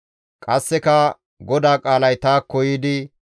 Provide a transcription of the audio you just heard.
Qasseka GODAA qaalay taakko yiidi,